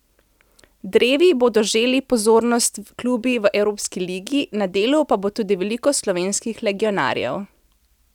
Drevi bodo želi pozornost klubi v evropski ligi, na delu pa bo tudi veliko slovenskih legionarjev.